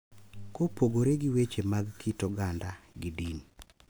Kopogore gi weche mag kit oganda gi din,